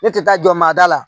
Ne tɛ taa jɔ maa da la